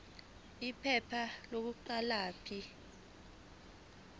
iphepha lokuqala p